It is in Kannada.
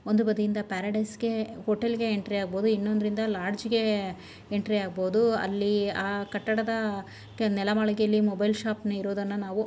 ಒಂದು ಬದಿಯಿಂದ ಪ್ಯಾರಡೈಸ್ ಗೆ ಹೋಟೆಲ್ಲಿ ಗೆ ಎಂಟ್ರಿ ಆಗಬಹುದು ಇನ್ನೋದ್ರಿಂದ ಲಾಡ್ಜ್ ಗೆ ಎಂಟ್ರಿ ಆಗಬಹುದು. ಅಲ್ಲಿ ಆ ಕಟ್ಟಡದ ನೆಲಮಾಳಿಗೆಯಲ್ಲಿ ಮೊಬೈಲ್ ಶಾಪ್ ನ ಇರೋದನ್ನ ನಾವು --